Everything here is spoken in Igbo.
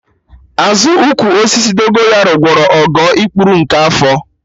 Azụ ụkwụ osisi Dogonyaro gwọrọ Ogo ikpuru nke afọ